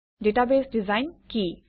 database design কি